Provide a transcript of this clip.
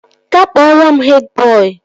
Ga kpọrọ m hed bọị!